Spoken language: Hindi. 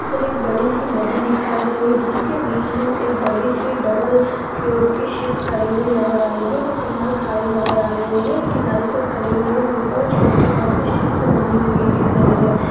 यहाँ पर एक बड़ी सी नदी दिखाई दे रहे है जिसके बीच एक बड़ी सी डबल फ्लोर की शिप खड़ी हुई नजर आ रही है जो की फिलहाल खाली नजर आ रही है ये किनारे पर खड़ी हुई है और एक और छोटी नाव इस शिप से बनी हुई दिख रही है ।]